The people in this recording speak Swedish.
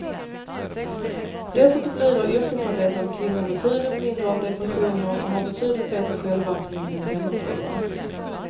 Dessutom lider yrkesarbetande kvinnor betydligt mindre av depressioner och har betydligt bättre självaktning än hemmafruar.